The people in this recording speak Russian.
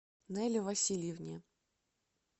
нэле васильевне